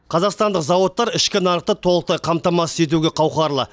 қазақстандық зауыттар ішкі нарықты толықтай қамтамасыз етуге қауқарлы